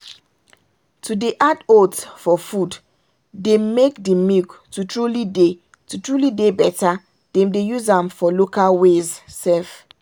to dey add oats for food dey make the milk to truly dey to truly dey better them dey use am for local ways sef.